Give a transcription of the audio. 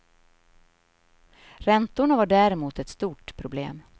Räntorna var däremot ett stort problem.